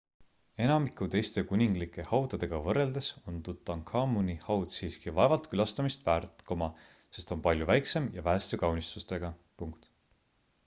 enamiku teiste kuninglike haudadega võrreldes on tutankhamuni haud siiski vaevalt külastamist väärt sest on palju väiksem ja väheste kaunistustega